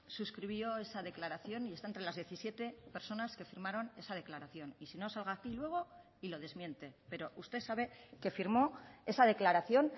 suscribió esa declaración y está entre las diecisiete personas que firmaron esa declaración y si no salga aquí luego y lo desmiente pero usted sabe que firmó esa declaración